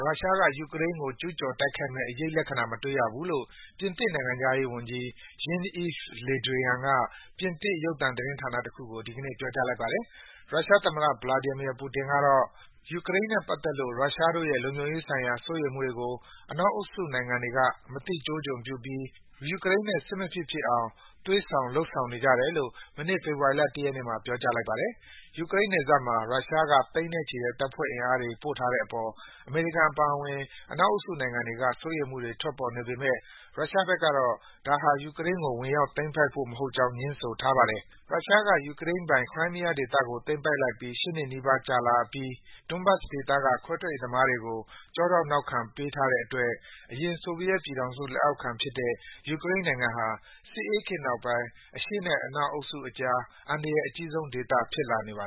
ရုရှားက ယူကရိန်းကို ကျူးကျော်တိုက်ခိုက်မယ့်အရိပ်လက္ခဏာ မတွေ့ရသေးဘူးလို့ ပြင်သစ်နိုင်ငံခြားရေးဝန်ကြီး Jean-Yves Le Drian က ပြင်သစ် ရုပ်သံသတင်းဌာနတခုကို ဒီကနေ့ ပြောကြားလိုက်ပါတယ်။ ရုရှားသမ္မတ Vladimir Putin ကတော့ - ယူကရိန်းနဲ့ပတ်သက်လို့ ရုရှားတို့ရဲ့လုံခြုံရေးဆိုင်ရာစိုးရိမ်မှုတွေကို အနောက် အုပ်စုနိုင်ငံတွေက မသိကျိုးကျွံပြုပြီး ယူကရိန်းနဲ့ စစ်မဖြစ်ဖြစ်အောင် သွေးဆောင်နေကြတယ်လို့ မနေ့ ေဖေဖာ်ဝါရီလ ၁ ရက်နေ့မှာ ပြောကြားလိုက်ပါတယ်။ ယူကရိန်းနယ်စပ်မှာ ရုရှားက သိန်းနဲ့ချီတဲ့ တပ်ဖွဲ့အင်အားတွေပို့ထားတဲ့အေပါ် အမေရိကန်အပါအဝင် အနောက်အုပ်စု နိုင်ငံတွေက စိုးရိမ်မှုတွေ ထွက်ပေါ်နေပေမယ့် ရုရှားဘက်ကေတာ့ ဒါဟာ ယူကရိန်းကို ဝင်ရောက်သိမ်းပိုက်ဖို့ မဟုတ်ကြောင်း ငြင်းဆိုထားပါတယ်။ ရုရှားက ယူကရိန်းပိုင် Crimea ဒေသကိုသိမ်းပိုက်အပြီး ၈ နှစ်နီးပါးကြာလာပြီး Donbass ဒေသက ခွဲထွက်ရေးသမားတွေကို ကျောထောက်နောက်ခံပေးထားတဲ့အတွက် အရင် ဆိုဗီယက်ပြည်ထောင်စုလက်အောက်ခံဖြစ်ခဲ့တဲ့ ယူကရိန်းနိုင် ငံဟာ စစ်အေးခေတ်နောက်ပိုင်း အရှေ့နဲ့ အနောက်အုပ်စုအကြား အန္တရာယ်အကြီးဆုံးဒေသ ဖြစ်လာနေပါ